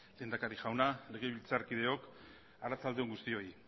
lehendakari jauna legebiltzarkideo arratsalde on guztioi